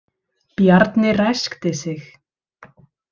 Bjarni ræskti sig.